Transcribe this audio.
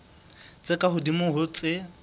tse ka hodimo ho tse